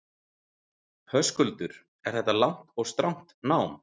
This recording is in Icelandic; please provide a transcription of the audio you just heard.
Höskuldur: Er þetta langt og strangt nám?